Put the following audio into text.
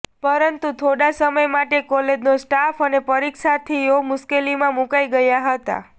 પરંતુ થોડા સમય માટે કોલેજનો સ્ટાફ અને પરીક્ષાર્થીઓ મુશ્કેલીમાં મુકાઈ ગયા હતા